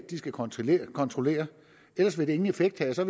de skal kontrollere kontrollere ellers vil det ingen effekt have så